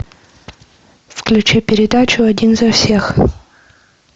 включи передачу один за всех